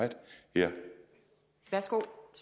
der